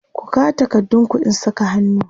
ku kawo takardun ku in Saka hannu!